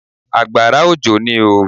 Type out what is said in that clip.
Àgbàrá òjò ní oo.